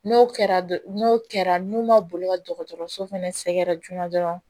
N'o kɛra n'o kɛra n'u ma boli ka dɔgɔtɔrɔso fɛnɛ sɛgɛrɛ joona dɔrɔn